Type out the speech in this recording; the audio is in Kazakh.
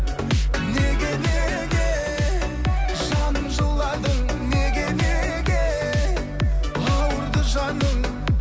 неге неге жаным жыладың неге неге ауырды жаның